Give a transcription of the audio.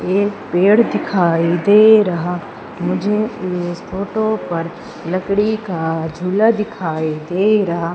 एक पेड़ दिखाई दे रहा मुझे इस फोटो पर लकड़ी का झूला दिखाई दे रहा।